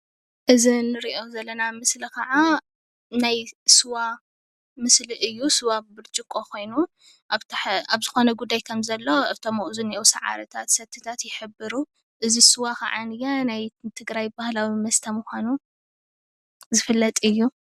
እዚ እንሪኦ ዘለና ስእሊ ክዓ ናይ ስዋ ምስሊ እዩ ስዋ ብብርጭቆ ኮይኑ ኣብ ዝኮነ ጉዳይ ከም ዘሎ እቶም ኣብኡ ዘለው ሳዕርታት ሰቲታት ይሕብሩ እዚ ስዋ ክዓ ናይ ትግራይ ባህላዊ መስተ ምኳኑ ዝፍለጥ እዩ፡፡